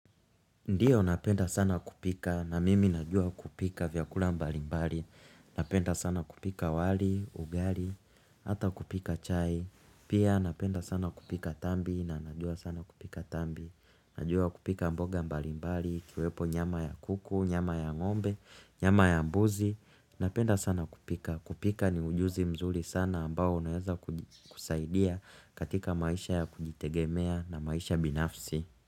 Ndio napenda sana kupika, na mimi najua kupika vyakula mbalimbali. Napenda sana kupika wali, ugali, hata kupika chai. Pia napenda sana kupika tambi na najua sana kupika tambi. Najua kupika mboga mbalimbali, kiwepo nyama ya kuku, nyama ya ngombe, nyama ya mbuzi. Napenda sana kupika. Kupika ni ujuzi mzuri sana ambao unaweza kusaidia katika maisha ya kujitegemea na maisha binafsi.